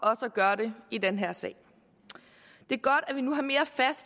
gøre det i den her sag det